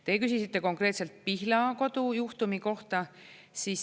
Teie küsisite konkreetselt Pihlakodu juhtumi kohta.